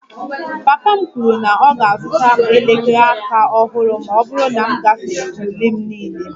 Papa m kwuru na ọ ga-azụta m elekere aka ọhụrụ ma ọ bụrụ na m gafere ule m niile